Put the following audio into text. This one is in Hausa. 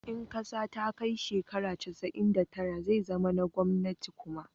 in ƙasa ta kai shekara casa'in da tara zai zama na gwamnati kuma